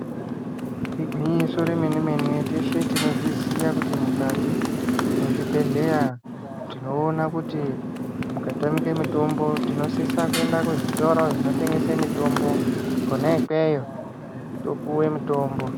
Igwinyiso remene mene teshe tinozviziva kuti mukati mwezvibhedhleya tinoona kuti mukatamike mutombo tinosisa kuenda kuzvitoro zvinotengese mitombo kona ikweyo topuwe mutombo.